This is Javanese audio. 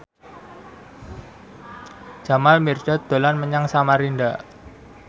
Jamal Mirdad dolan menyang Samarinda